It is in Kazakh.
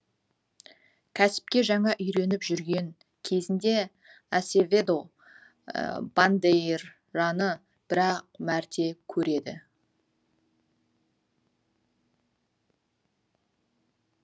кәсіпке жаңа үйреніп жүрген кезінде асеведо бандейраны бір ақ мәрте көреді